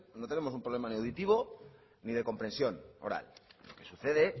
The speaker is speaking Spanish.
no tenemos un problema ni auditivo ni de comprensión oral lo que sucede